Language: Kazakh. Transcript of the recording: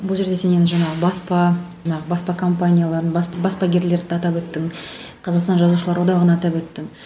бұл жерде сен енді жаңағы баспа жаңағы баспа компанияларын баспа баспагерлерді атап өттің қазақстан жазушылар одағын атап өттің